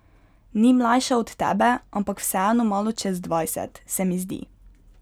Ni mlajša od tebe, ampak vseeno malo čez dvajset, se mi zdi.